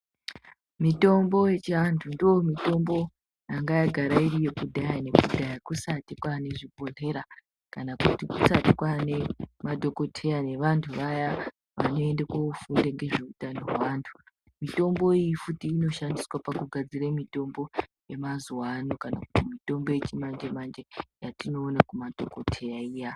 Mitombo yechiantu ndo mitombo yanga yagara iriyo kudhaya nekudhaya kusati kwane zvibhohlera kana kuti kusati kwane madhoKoteya nevantu vaya vanoenda kofunda ngezveutano hweantu. Mitombo iyi futi inoshandiswe pakugadzire mitombo yemazuwa ano kana kuti yechimanje-manje yatinoona kumadhokoteya iya.